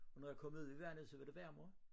Og når jeg kom ud i vandet så var det varmere